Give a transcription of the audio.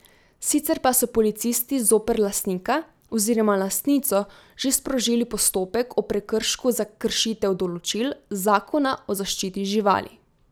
Sicer pa so policisti zoper lastnika oziroma lastnico že sprožili postopek o prekršku za kršitev določil Zakona o zaščiti živali.